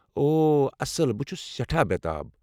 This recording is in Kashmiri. او اصٕل، بہٕ چھُس سٮ۪ٹھاہ بےٚتاب۔